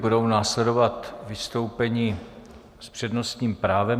Budou následovat vystoupení s přednostním právem.